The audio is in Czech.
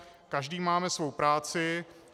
Každý máme svou práci.